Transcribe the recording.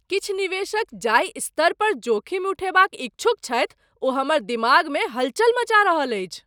किछु निवेशक जाहि स्तर पर जोखिम उठयबाक इच्छुक छथि ओ हमर दिमागमे हलचल मचा रहल अछि।